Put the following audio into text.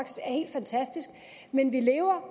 fantastisk men vi lever